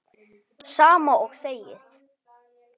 Sama og þegið.